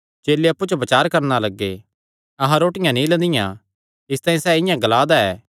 चेले अप्पु च बचार करणा लग्गे अहां रोटियां नीं लंदियां इसतांई सैह़ इआं ग्ला दा ऐ